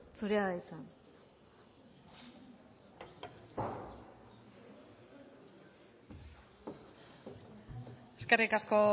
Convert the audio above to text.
zurea da hitza eskerrik asko